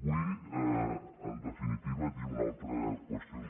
vull en definitiva dir una altra qüestió important no que